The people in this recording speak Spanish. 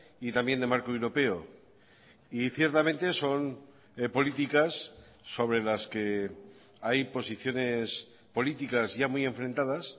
y también de marco europeo y ciertamente son políticas sobre las que hay posiciones políticas ya muy enfrentadas